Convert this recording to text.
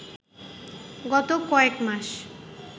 গত কয়েক মাস